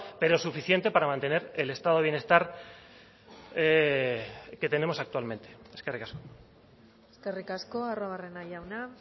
pero suficiente para mantener el estado de bienestar que tenemos actualmente eskerrik asko eskerrik asko arruabarrena jauna